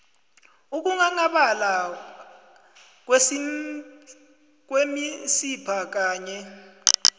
ukunghanghabala kwemisipha kanye